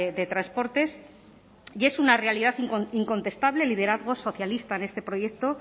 de transportes y es una realidad incontestable el liderazgo socialista en este proyecto